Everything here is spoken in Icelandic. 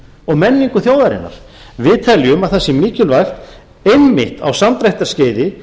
og menningu þjóðarinnar við teljum að það sé mikilvægt einmitt á samdráttarskeiði